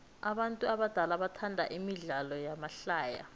abantu abadala bathanda imidlalo yamahlaya